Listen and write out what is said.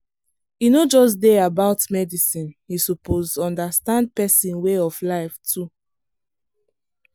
e no just dey about medicine you suppose understand person way of life too.